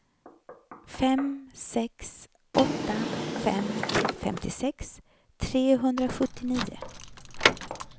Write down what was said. fem sex åtta fem femtiosex trehundrasjuttionio